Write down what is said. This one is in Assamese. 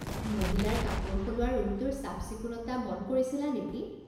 মহিলাৰ কাপোৰ সলোৱা ৰুমটোৰ চাফ চিকুণতা মন কৰিছিলা নেকি?